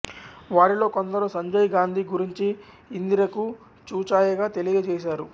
వారిలో కొందరు సంజయ్ గాంధీ గురించి ఇందిరకు చూచాయగా తెలియజేసారు